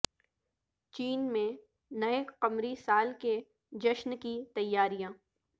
چین میں نئے قمری سال کے جشن کی تیاریاں